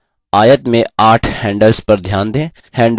आयत में आठ handles पर ध्यान दें